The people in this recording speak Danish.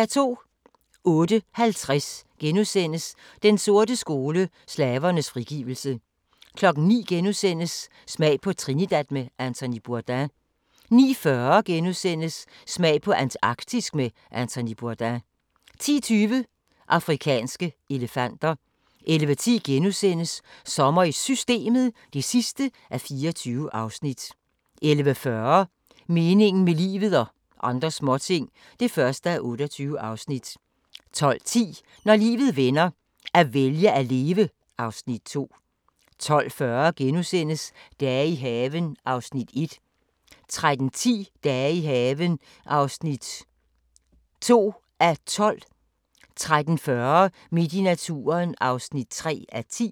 08:50: Den sorte skole: Slavernes frigivelse * 09:00: Smag på Trinidad med Anthony Bourdain * 09:40: Smag på Antarktisk med Anthony Bourdain * 10:20: Afrikanske elefanter 11:10: Sommer i Systemet (24:24)* 11:40: Meningen med livet – og andre småting (1:28) 12:10: Når livet vender - at vælge at leve (Afs. 2) 12:40: Dage i haven (1:12)* 13:10: Dage i haven (2:12) 13:40: Midt i naturen (3:10)